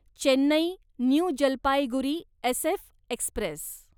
Chennai new Jalpaiguri SF Express